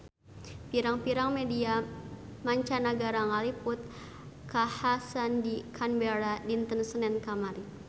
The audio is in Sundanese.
Pirang-pirang media mancanagara ngaliput kakhasan di Canberra dinten Senen kamari